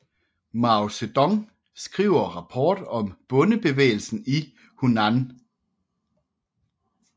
Mao Zedong skriver rapport om bondebevægelsen i Hunan